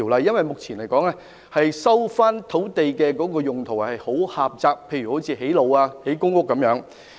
因為，目前收回土地可作的用途相當狹窄，例如只能用作興建道路和公屋等。